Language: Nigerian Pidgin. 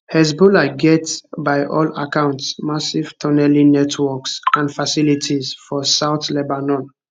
hezbollah get by all accounts massive tunnelling networks and facilities for south lebanon